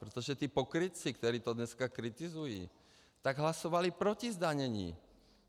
Protože ti pokrytci, kteří to dneska kritizují, tak hlasovali proti zdanění.